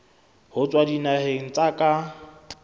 ho tswa dinaheng tsa ka